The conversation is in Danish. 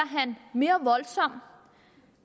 han mere voldsom